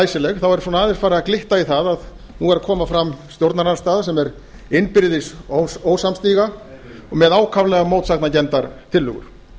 læsileg þá er aðeins farið að glitta í það að nú er að koma fram stjórnarandstaða sem er innbyrðis ósamstiga og með ákaflega mótsagnakenndar tillögur